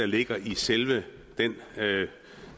ligger i selve den